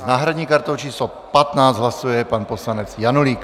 S náhradní kartou číslo 15 hlasuje pan poslanec Janulík.